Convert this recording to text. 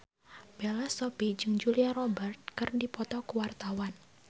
Bella Shofie jeung Julia Robert keur dipoto ku wartawan